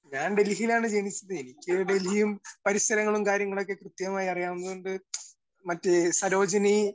Speaker 1 ഞാൻ ഡൽഹിയിലാണ് ജനിച്ചത്. എനിക്ക് ഡൽഹിയും പരിസരങ്ങളും കാര്യങ്ങളൊക്കെ കൃത്യമായി അറിയാവുന്നത്കൊണ്ട് മറ്റ് സരോജിനി